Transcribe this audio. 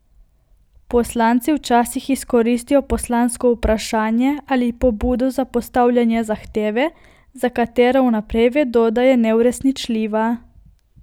Poslanci včasih izkoristijo poslansko vprašanje ali pobudo za postavljanje zahteve, za katero vnaprej vedo, da je neuresničljiva.